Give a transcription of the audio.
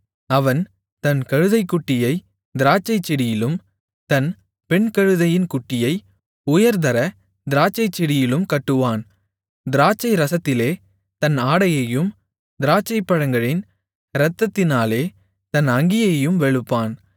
அவன் தன் கழுதைக்குட்டியைத் திராட்சைச்செடியிலும் தன் பெண்கழுதையின் குட்டியை உயர்தர திராட்சைச்செடியிலும் கட்டுவான் திராட்சை ரசத்திலே தன் ஆடையையும் திராட்சைப்பழங்களின் இரத்தத்திலே தன் அங்கியையும் வெளுப்பான்